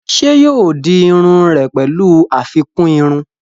Ṣé yóò di iru rẹ̀ pẹ̀lú àfikún irun?